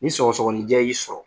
Ni sɔgɔsɔgɔnijɛ y'i sɔrɔ,